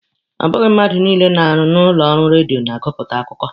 Ọ bụghị mmadụ niile na-arụ n'ụlọ ọrụ redio na-agụpụta akụkọ